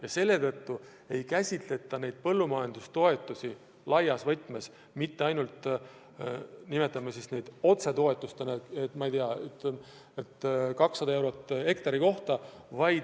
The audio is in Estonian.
Ka selle tõttu ei käsitleta põllumajandustoetusi enam ainult laias võtmes – nimetame neid siis otsetoetusteks –, et, ma ei tea, eraldame 200 eurot hektari kohta.